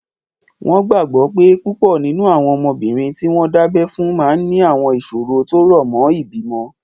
Wọ́n gbàgbọ́ pé púpọ̀ nínú àwọn ọmọbìnrin tí wọ́n dábẹ́ fún máa ní àwọn ìṣòro tó rọ̀ mọ́ ìbímọ